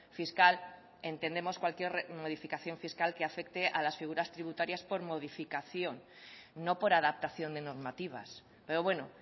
fiscal entendemos cualquier modificación fiscal que afecte a las figuras tributarias por modificación no por adaptación de normativas pero bueno